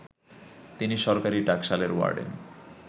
তিনি সরকারি টাকশালের ওয়ার্ডেন